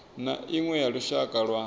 na iṅwe ya lushaka lwa